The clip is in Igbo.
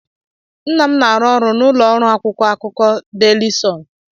Nna m na-arụ ọrụ n'ụlọ ọrụ akwụkwọ akụkọ Daily Sun.